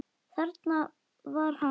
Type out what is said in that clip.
Þarna var hann þá!